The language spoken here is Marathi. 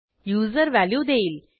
युजर व्हॅल्यू देईल